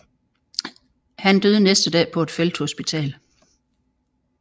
Han døde næste dag på et felthospital